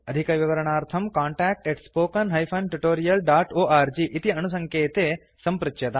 अधिकविवरणार्थं contact spoken tutorialorg इति अणुसङ्केते सम्पृच्यताम्